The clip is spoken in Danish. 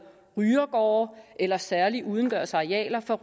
rygergårde eller særlige udendørsarealer for